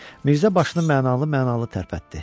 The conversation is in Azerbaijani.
Mirzə başını mənalı-mənalı tərpətdi.